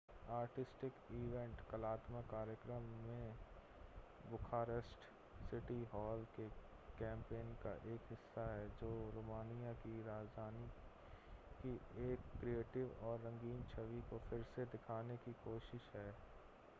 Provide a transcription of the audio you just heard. artistic event कलात्मक कार्यक्रम भी बुखारेस्ट सिटी हॉल के कैंपेन का एक हिस्सा है जो रोमानिया की राजधानी की एक क्रिएटिव और रंगीन छवि को फिर से दिखाने की कोशिश है